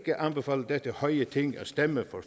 anbefale dette høje ting at stemme